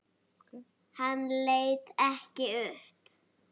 Hann leit ekki upp.